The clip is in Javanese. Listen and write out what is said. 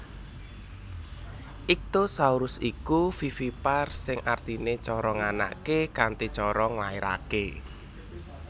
Ichtyosaurus iku vivipar sing artinè cara nganakè kanthi cara nglairakè